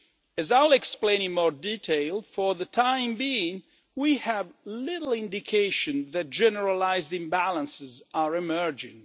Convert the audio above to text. As I will explain in more detail, for the time being we have little indication that generalised imbalances are emerging.